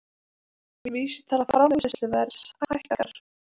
Vísitala framleiðsluverðs hækkar